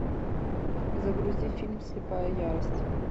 загрузи фильм слепая ярость